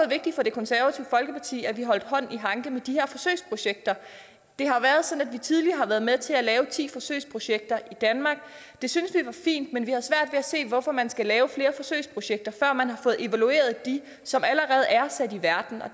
vigtigt for det konservative folkeparti at vi har holdt hånd i hanke med de her forsøgsprojekter det har været sådan at vi tidligere har været med til at lave ti forsøgsprojekter i danmark det syntes vi var fint men vi at se hvorfor man skal lave flere forsøgsprojekter før man har fået evalueret dem som allerede er sat i verden og